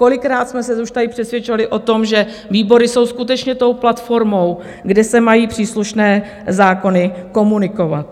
Kolikrát jsme se už tady přesvědčovali o tom, že výbory jsou skutečně tou platformou, kde se mají příslušné zákony komunikovat.